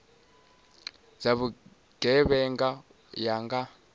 dza vhugevhenga u ya nga